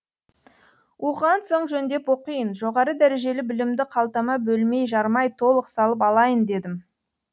оқыған соң жөндеп оқиын жоғары дәрежелі білімді қалтама бөлмей жармай толық салып алайын дедім